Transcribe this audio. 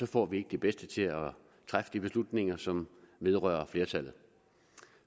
får vi ikke de bedste til at træffe de beslutninger som vedrører flertallet